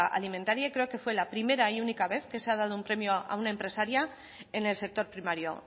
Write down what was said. alimentaria y creo que fue la primera y única vez que se ha dado un premio a una empresaria en el sector primario